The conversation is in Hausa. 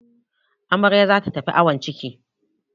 Amarya za ta tafi awon ciki.